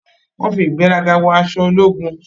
Wọ́n fi ìgbéraga wọ aṣọ ológun.